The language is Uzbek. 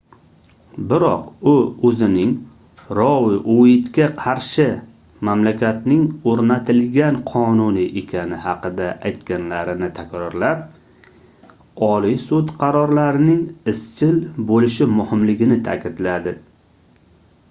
biroq u oʻzining rou ueytga qarshi mamlakatning oʻrnatilgan qonuni ekani haqida aytganlarini takrorlab oliy sud qarorlarining izchil boʻlishi muhimligini taʼkidladi